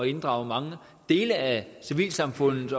inddrage mange dele af civilsamfundets